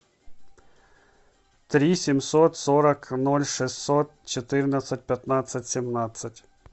три семьсот сорок ноль шестьсот четырнадцать пятнадцать семнадцать